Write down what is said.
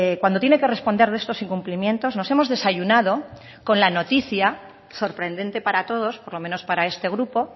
cuando tiene que responder de estos incumplimientos nos hemos desayunado con la noticia sorprendente para todos por lo menos para este grupo